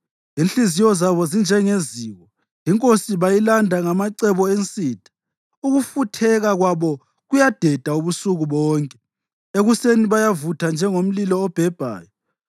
Inhliziyo zabo zinjengeziko, inkosi bayilanda ngamacebo ensitha. Ukufutheka kwabo kuyadeda ubusuku bonke; ekuseni kuyavutha njengomlilo obhebhayo.